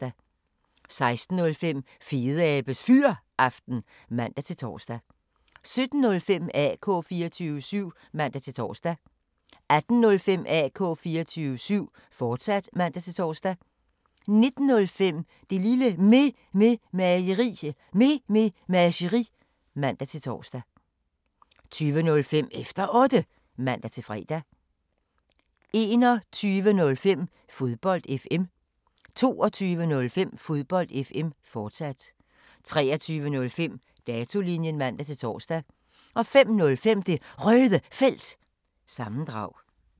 16:05: Fedeabes Fyraften (man-tor) 17:05: AK 24syv (man-tor) 18:05: AK 24syv, fortsat (man-tor) 19:05: Det Lille Mememageri (man-tor) 20:05: Efter Otte (man-fre) 21:05: Fodbold FM 22:05: Fodbold FM, fortsat 23:05: Datolinjen (man-tor) 05:05: Det Røde Felt – sammendrag